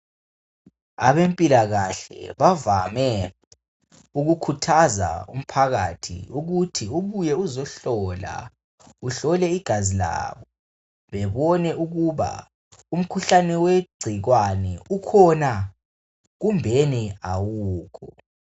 Abempilakahle bavame ukukhuthaza umphakathi ukuthi ubuye uzohlola igazi bebone ukuba umkhuhlane wegcikwane ukhona kumbeni awukho.